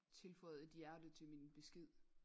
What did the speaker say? Tilføjet et hjerte til min besked